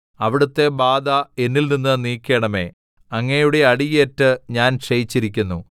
അവിടുത്തെ ബാധ എന്നിൽനിന്ന് നീക്കണമേ അങ്ങയുടെ അടിയേറ്റ് ഞാൻ ക്ഷയിച്ചിരിക്കുന്നു